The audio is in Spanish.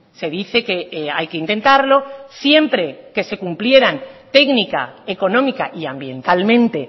se dice que hay que intentarlo siempre que se cumplieran técnica económica y ambientalmente